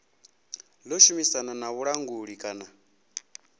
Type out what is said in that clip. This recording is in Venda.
ḓo shumisana na vhulanguli kana